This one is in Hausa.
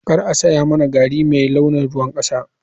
Kar a saya mani gari mai launin ruwan kasa.